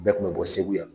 Bɛɛ kun bɛ bɔ segu yan